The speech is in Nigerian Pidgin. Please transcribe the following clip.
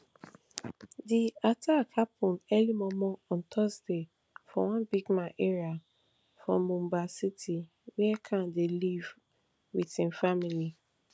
di attack happun early mormor on thursday for one bigman area for mumbai city wia khan dey live wit im family